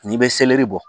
N'i bɛ seleri bɔ